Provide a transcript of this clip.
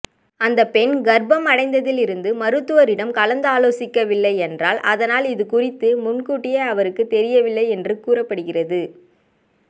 அந்த பெண் கர்ப்பம் அடைந்ததில் இருந்து மருத்துவரிடம் கலந்தாலோசிக்கவில்லை என்றால் அதனால் இதுகுறித்து முன்கூட்டியே அவருக்கு தெரியவில்லை என்றும் கூறப்படுகிறது